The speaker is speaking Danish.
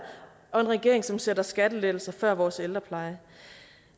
og en regering som sætter skattelettelser før vores ældrepleje